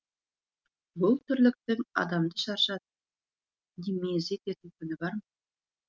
бұл тірліктің адамды шаршатып не мезі ететін күні бар ма